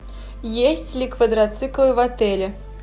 есть ли квадроциклы в отеле